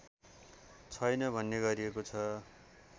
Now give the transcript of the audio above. छैन भन्ने गरिएको छ